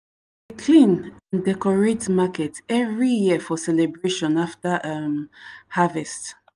clean and decorate market every year for celebration after um harvest.